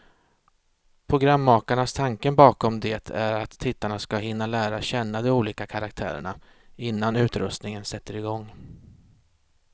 Programmakarnas tanke bakom det är att tittarna ska hinna lära känna de olika karaktärerna, innan utröstningen sätter igång.